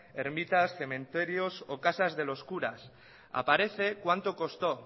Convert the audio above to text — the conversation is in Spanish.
ermitas cementerios o casas de los curas aparece cuánto costó